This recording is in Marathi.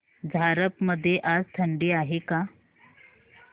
झारप मध्ये आज थंडी आहे का